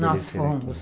Nós fomos.